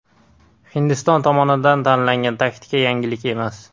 Hindiston tomonidan tanlangan taktika yangilik emas.